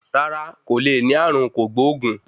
Rárá, kò le ní ààrùn kògbóògùn.